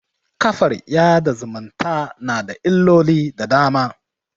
kafar yaɗa zumunta na da illoli da dama